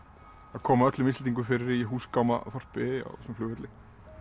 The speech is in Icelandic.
að koma öllum Íslendingum fyrir í húsgámaþorpi á þessum flugvelli